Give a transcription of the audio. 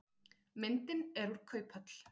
Myndin er úr kauphöll.